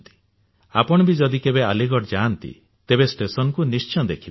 ଆପଣ ବି ଯଦି କେବେ ଆଲିଗଡ ଯାଆନ୍ତି ତେବେ ଷ୍ଟେସନକୁ ନିଶ୍ଚୟ ଦେଖିବେ